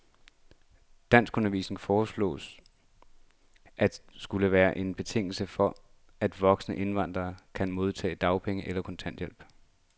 Danskundervisning foreslås at skulle være en betingelse for, at voksne indvandrere kan modtage dagpenge eller kontanthjælp.